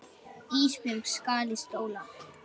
Ísbjörg skal í skóla.